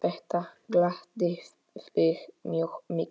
Þetta gladdi þig mjög mikið.